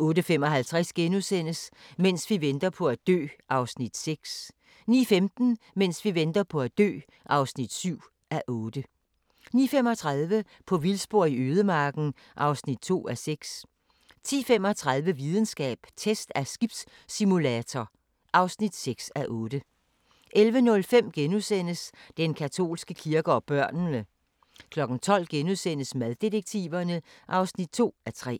08:55: Mens vi venter på at dø (6:8)* 09:15: Mens vi venter på at dø (7:8) 09:35: På vildspor i ødemarken (2:6) 10:35: Videnskab: Test af skibssimulator (6:8) 11:05: Den katolske kirke og børnene * 12:00: Maddetektiverne (2:3)*